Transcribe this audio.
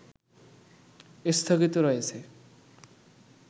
স্থগিত রয়েছে